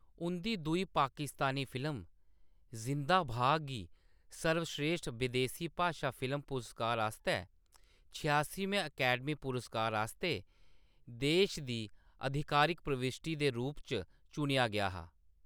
उंʼदी दूई पाकिस्तानी फिल्म 'ज़िंदा भाग' गी सर्वश्रेश्ठ बदेसी भाशा फिल्म पुरस्कार आस्तै छेआसमें अकैडमी पुरस्कार आस्तै देश दी आधिकारिक प्रविश्टी दे रूप च चुनेआ गेआ हा।